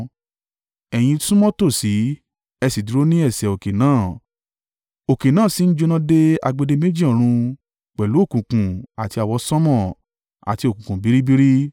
Ẹ̀yin súnmọ́ tòsí, ẹ sì dúró ní ẹsẹ̀ òkè náà, òkè náà sì ń jóná dé agbede-méjì ọrun, pẹ̀lú òkùnkùn, àti àwọsánmọ̀, àti òkùnkùn biribiri.